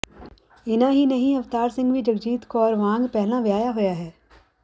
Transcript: ਇਨ੍ਹਾਂ ਹੀ ਨਹੀਂ ਅਵਤਾਰ ਸਿੰਘ ਵੀ ਜਗਜੀਤ ਕੌਰ ਵਾਂਗ ਪਹਿਲਾ ਵਿਆਹਿਆ ਹੋਇਆ ਹੈ